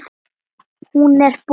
Hún er bús.